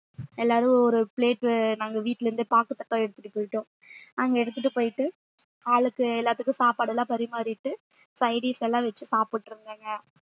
எல்லாரும் ஒரு plate நாங்க வீட்டுல இருந்தே பாக்கு தட்டா எடுத்துட்டுப் போயிட்டோம் அங்க எடுத்துட்டுப் போயிட்டு ஆளுக்கு எல்லாத்துக்கும் சாப்பாடு எல்லாம் பரிமாறிட்டு side dish எல்லாம் வச்சு சாப்பிட்டுருந்தேங்க